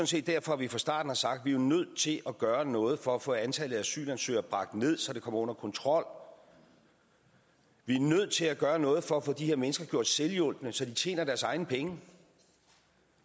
set derfor vi fra starten har sagt at vi er nødt til at gøre noget for at få antallet af asylansøgere bragt ned så det kommer under kontrol vi er nødt til at gøre noget for at få de her mennesker gjort selvhjulpne så de tjener deres egne penge